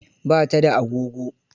Ba ta da agogo.